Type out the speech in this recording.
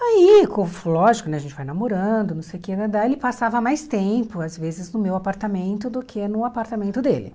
Aí, com lógico né, a gente vai namorando, não sei o que, daí ele passava mais tempo, às vezes, no meu apartamento do que no apartamento dele.